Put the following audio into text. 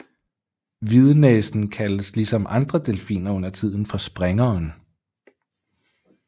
Hvidnæsen kaldes ligesom andre delfiner undertiden for springeren